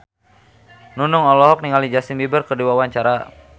Nunung olohok ningali Justin Beiber keur diwawancara